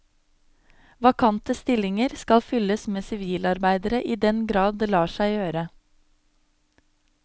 Vakante stillinger skal fylles med sivilarbeidere i den grad det lar seg gjøre.